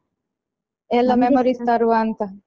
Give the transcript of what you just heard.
ಎಲ್ಲಾ memories ತರುವಾಂತ.